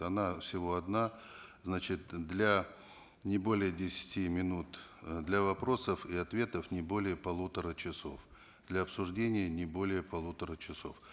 она всего одна значит для не более десяти минут э для вопросов и ответов не более полутора часов для обсуждения не более полутора часов